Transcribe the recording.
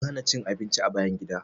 An hana cin abinci a bayan gida.